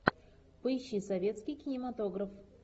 поищи советский кинематограф